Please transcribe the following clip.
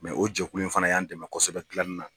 o jɛkulu in fana y'an dɛmɛ kosɛbɛ gilannina.